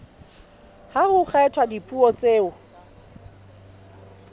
ha ho kgethwa dipuo tseo